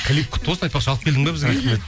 клип құтты болсын айтпақшы алып келдің бе бізге рахмет